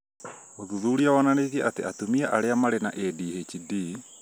ũthuthuria wonanĩtie atĩ atumia arĩa marĩ na ADHD